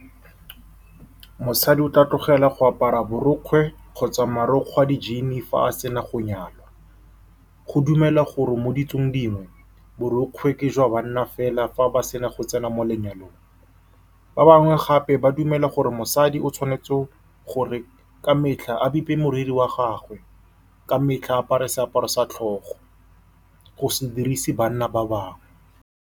Mosadi o tla tlogela go apara borokgwe kgotsa marokgwe a di-jean-e fa a sena go nyalwa. Go dumelwa gore mo ditsong dingwe borokgwe ke jwa banna fela fa ba sena go tsena mo lenyalong. Ba bangwe gape ba dumela gore mosadi o tshwanetse gore ka metlha a bepe moriri wa gagwe, ka metlha apare seaparo sa tlhogo, go se dirise banna ba bangwe.